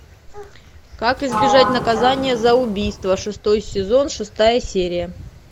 как избежать наказания за убийство шестой сезон шестая серия